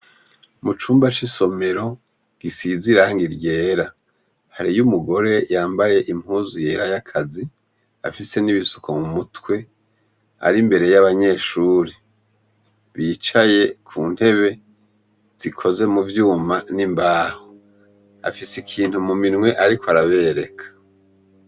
Mucumba c'isomero, gisizirangi ryera hari y'umugore yambaye impuzu yera y'akazi, afise n'ibisuko mu mutwe, ari mbere y'abanyeshuri yicaye ku ntebe, zikoze mu vyuma n'imbaho, afise ikintu mu minwe ariko arabereka.